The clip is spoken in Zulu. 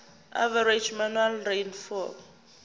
average annual rainfall